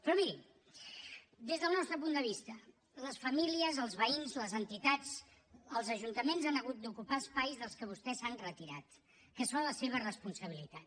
però miri des del nostre punt de vista les famílies els veïns les entitats els ajuntaments han hagut d’ocupar espais dels que vostès s’han retirat que són la seva responsabilitat